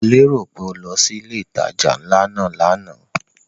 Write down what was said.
Mo lérò pé o lọ sí ilé ìtajà ńlá náà lánàá?